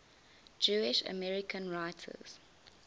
jewish american writers